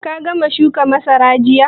Ka gama shuka masarar jiya?